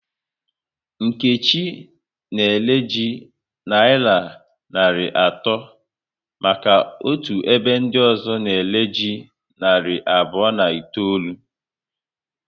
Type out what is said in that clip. Nkechi na ere ji nayira narị atọ maka otu ebe ndị ọzọ na ere ji narị abụọ na itoolu